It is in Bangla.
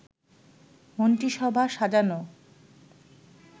মন্ত্রিসভা সাজানো